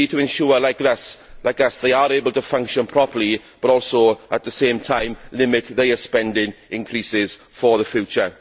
We need to ensure that they, like us, are able to function properly but also, at the same time, limit their spending increases for the future.